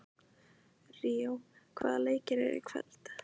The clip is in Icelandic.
Ríó, hvaða leikir eru í kvöld?